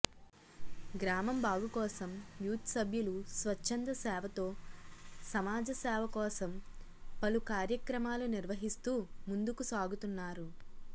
గ్రామం బాగుకోసం యూత్సభ్యులు స్వచ్చందసేవతో సమా సేవకోసం పలు కార్యక్రమాలు నిర్వహిస్తు ముందుకు సాగుతున్నారు